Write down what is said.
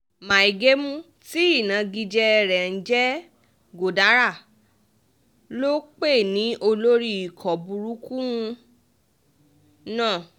mai gemu tí ìnagijẹ rẹ̀ ń jẹ́ godara ló pè ní olórí ikọ̀ burúkú náà